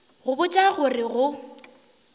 go botša go re go